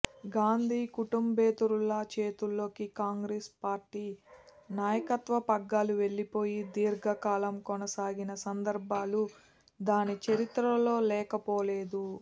గాంధీ కుటుంబేతరుల చేతుల్లోకి కాంగ్రెస్ పార్టీ నాయకత్వ పగ్గాలు వెళ్లిపోయి దీర్ఘకాలం కొనసాగిన సందర్భాలు దాని చరిత్రలో లేకపోలేదు